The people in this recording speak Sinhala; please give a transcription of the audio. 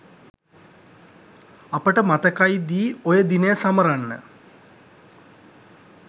අපට මතකයිදී ඔය දිනය සමරන්න